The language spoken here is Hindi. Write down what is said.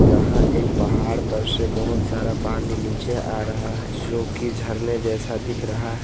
यहां एक पहाड़ पर से बहोत सारा पानी नीचे आ रहा है जोकि झरने जैसा दिख रहा है।